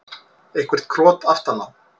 Eitthvert krot aftan á.